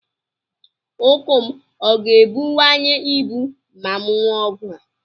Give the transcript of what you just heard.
Ukwu m ọ ga-ebuwanye ibu ma m ñụọ ọgwụ a?